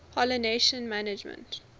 pollination management